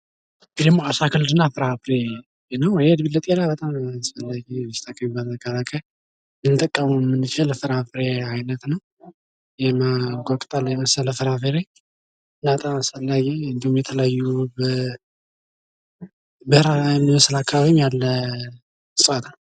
ይህ ደሞ አታክልት እና ፍራፍሬ ነው ፤ ይሄ እንግዲህ ለጤና በጣም አስፈላጊ በሽታ መከላከያ ልንጠቀመዉ የምንችለዉ ፍራፍሬ አይነት ነው ፤ የማንጎ ቅጠል የመሰለ ፍራፍሬ፣ እና በጣም አስፈላጊ፣ እንዲሁም የተለያዩ በበረሃ በሚመስል አከባቢ ያለ እጽዋት ነው።